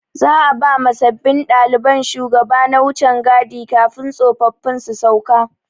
Za'a ba ma sabbin ɗalibai shugaba na wucan gadi kafin tsofaffin su sauka.